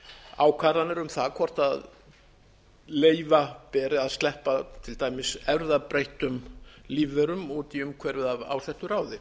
ákvarðanir um það hvort leyfa beri að sleppa til dæmis erfðabreyttum lífverum út í umhverfið af ásettu ráði